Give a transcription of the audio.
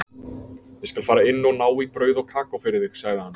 Ég skal fara inn og ná í brauð og kakó fyrir þig, sagði hann.